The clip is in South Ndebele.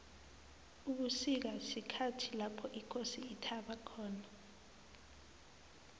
ubusika sikhathi lapho ikosi ithaba khona